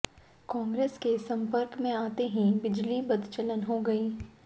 कांग्रेस के संपर्क में आते ही बिजली बदचलन हो गई